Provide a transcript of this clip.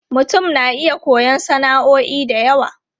Mutum na iya koyon sana'o'i da yawa.